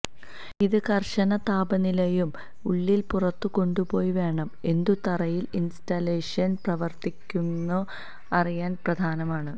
ഇത് കർശന താപനിലയിലും ഉള്ളിൽ പുറത്തു കൊണ്ടുപോയി വേണം എന്തു തറയിൽ ഇൻസ്റ്റലേഷൻ പ്രവർത്തിക്കുന്നു അറിയാൻ പ്രധാനമാണ്